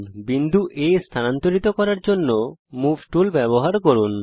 বিন্দু A স্থানান্তরিত করার জন্যে মুভ টুল ব্যবহার করুন